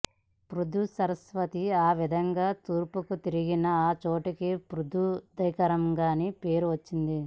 పృథుసరస్వతి ఆ విధంగా తూర్పుకు తిరిగిన ఆ చోటికి పృథూదకమని పేరువచ్చింది